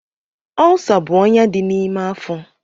Ọlsa bụ ọnyá dị n'ime afọ.